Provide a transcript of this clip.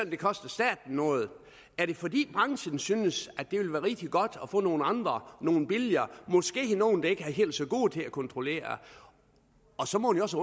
det koster staten noget er det fordi branchen synes at det ville være rigtig godt at få nogle andre nogle billigere måske nogle der ikke er helt så gode til at kontrollere så må man også